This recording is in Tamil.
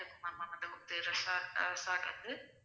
,